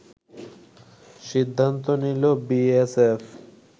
সিদ্ধান্ত নিল বিএসএফ